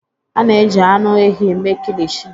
A na-eji anụ ehi mee Kilichi